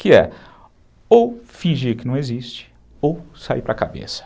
Que é ou fingir que não existe ou sair para a cabeça.